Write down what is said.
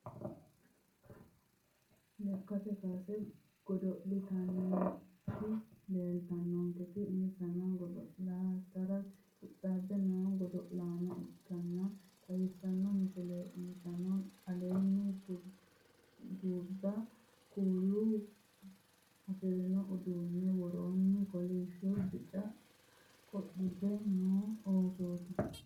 Lekkate kaase godo'laanooti leeltannonketi insano godo'litara qixxaabbino godo'laano ikkansa xawissanno misileeti insano aleenni gurdu kuula afirino uduunnenna woroonni kolishshonna bica qodhitino oosooti